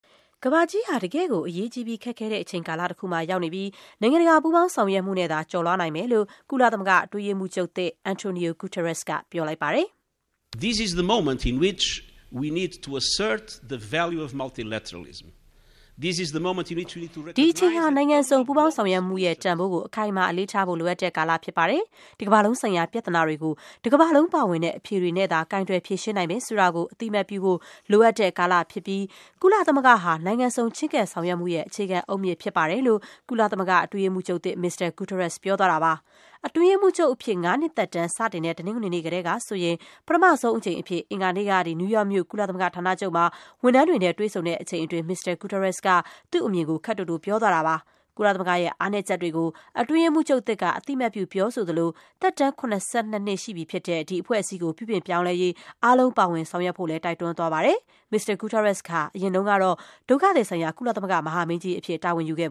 ကမ္ဘာကြီးဟာ တကယ့်ကို အရေးကြီးပြီး ခက်ခဲတဲ့ အချိန်ကာလ တခုမှာရောက်နေ ပြီး နိုင်ငံတကာ ပူးပေါင်းဆောင်ရွက်မှုနဲ့သာ ကျော်လွှားနိုင်မယ်လို့ ကုလသမဂ္ဂ အတွင်းရေးမှူးချုပ်သစ် Antonio Guterres က ပြောလိုက်ပါတယ်။ “ဒီအချိန်ဟာ နိုင်ငံစုံ ပူးပေါင်းဆောင်ရွက်မှုရဲ့ တန်ဖိုးကို အခိုင်အမာ အလေးထားဖို့ လိုအပ်တဲ့ကာလဖြစ်ပါတယ်။ ကမ္ဘာလုံး ဆိုင်ရာ ပြဿနာတွေကို တကမ္ဘာလုံးပါဝင်တဲ့ အဖြေတွေနဲ့သာ ကိုင်တွယ်ဖြေရှင်းနိုင်မယ်ဆိုတာကို အသိအမှတ်ပြုဖို့ လိုအပ်တဲ့ ကာလဖြစ်ပြီး ကုလသမဂ္ဂဟာ နိုင်ငံစုံ ချဉ်းကပ်ဆောင်ရွက်မှုရဲ့ အခြေခံအုတ်မြစ်ဖြစ်ပါတယ်။” လို့ အတွင်းရေးမှူးချုပ်သစ် မစ္စတာ Guterres က ပြောပါတယ်။ အတွင်းရေးမှူးချုပ်အဖြစ် ငါးနှစ်သက်တမ်း စတင်တဲ့ တနင်္ဂနွေနေ့ကတည်းကဆိုရင် ပထမဆုံးအကြိမ်အဖြစ် အင်္ဂါနေ့က နယူး ယောက်မြို့၊ ကုလသမဂ္ဂဌာနချုပ်မှာ ဝန်ထမ်းတွေနဲ့တွေ့ဆုံချိန်အတွင်း မစ္စတာ Guterres က သူ့အမြင်ကို ခပ်တိုတိုပြောသွားတာပါ။ ကုလသမဂ္ဂရဲ့ အားနည်းချက်တွေကို အတွင်းရေးမှူးချုပ်သစ်က အသိအမှတ်ပြု ပြောဆိုသလို သက်တမ်း ၇၂ နှစ်ရှိပြီဖြစ်တဲ့ ဒီ အဖွဲ့အစည်း ကို ပြုပြင်ပြောင်းလဲရေး အားလုံး ပါဝင်ဆောင်ရွက်ဖို့လည်း တိုက်တွန်းသွားပါတယ်။ မစ္စတာ Guterres ဟာ အရင်ကတော့ ဒုက္ခသည်ဆိုင်ရာ ကုလသမဂ္ဂ မဟာမင်းကြီးအဖြစ် တာဝန်ထမ်းခဲ့